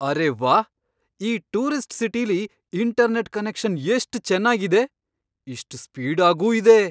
ಅರೇ ವಾಹ್! ಈ ಟೂರಿಸ್ಟ್ ಸಿಟಿಲಿ ಇಂಟರ್ನೆಟ್ ಕನೆಕ್ಷನ್ ಎಷ್ಟ್ ಚೆನ್ನಾಗಿದೆ, ಎಷ್ಟ್ ಸ್ಪೀಡಾಗೂ ಇದೆ!